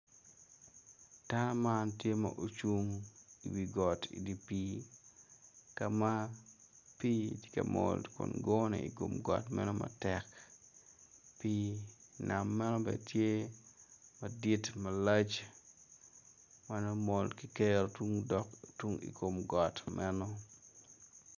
Dano man tye ma ocung i wi got i dye pii ka ma pii meno tye ma mol kun gone i kom got matek pii nam meno bene tye